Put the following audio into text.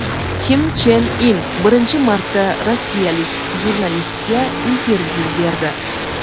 Kim Chen In birinchi marta rossiyalik jurnalistga intervyu berdi.